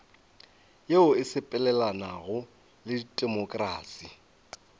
yeo e sepelelanago le temokrasi